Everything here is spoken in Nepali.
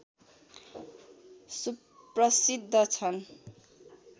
सुप्रसिद्द छन्